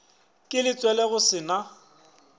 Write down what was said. ka letswele go se na